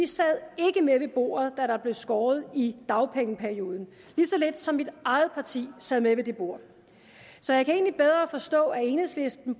sad med ved bordet da der blev skåret i dagpengeperioden lige så lidt som mit eget parti sad med ved det bord så jeg kan egentlig bedre forstå at enhedslisten